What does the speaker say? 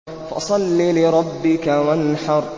فَصَلِّ لِرَبِّكَ وَانْحَرْ